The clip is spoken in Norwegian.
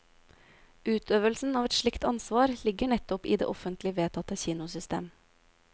Utøvelsen av et slikt ansvar ligger nettopp i det offentlig vedtatte kinosystem.